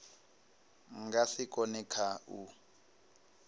nga si kone kha u